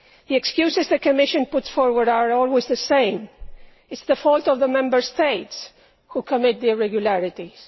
The excuses the Commission puts forward are always the same it is the fault of the Member States they commit the irregularities.